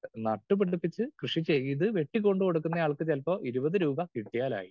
Speaker 2 നട്ടുപിടിപ്പിച്ച് കൃഷി ചെയ്തു വെട്ടി കൊണ്ട് കൊടുക്കുന്ന ആൾക്ക് ചിലപ്പോൾ ഇരുപത് രൂപ കിട്ടിയാലായി.